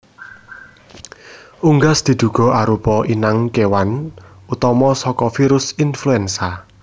Unggas diduga arupa inang kéwan utama saka virus influenza